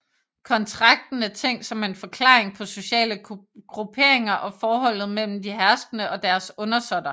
Kontrakten er tænkt som en forklaring på sociale grupperinger og forholdet mellem de herskende og deres undersåtter